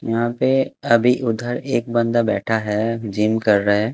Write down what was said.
यहाँ पे अभी उधर एक बंदा बैठा है जीम कर रहा है।